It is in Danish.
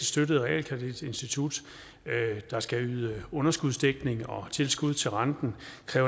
støttet realkreditinstitut der skal yde underskudsdækning og tilskud til renten